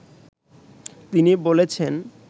তিনি বলেছেন